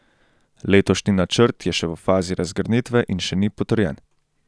Letošnji načrt je še v fazi razgrnitve in še ni potrjen.